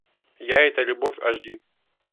я это любовь аш ди